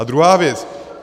A druhá věc.